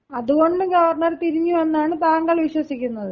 അതുകൊണ്ട് ഗവർണർ തിരിഞ്ഞു എന്നാണ് താങ്കൾ വിശ്വസിക്കുന്നത്.